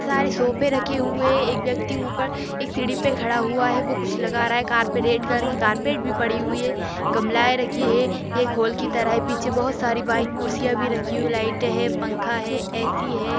सारे सोफे रखे हुए हैं एक व्यक्ति ऊपर एक सीडी पे खड़ा हुआ हैं वो कुछ लगा रहा हैं कार्पेट रेड कलर की कार्पेट भी पड़ी हुई हैं गमलाऐ रखी हुई हैं एक होल की तरह हैं पीछे बहुत सारी व्हाइट कुर्सियां भी रखी हुई हैं लाइट हैं पंखा हैं ए.सी. हैं।